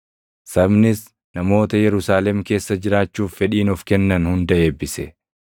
Sabnis namoota Yerusaalem keessa jiraachuuf fedhiin of kennan hunda eebbise.